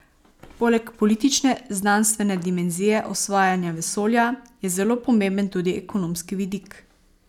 Poleg politične, znanstvene dimenzije osvajanja vesolja je zelo pomemben tudi ekonomski vidik.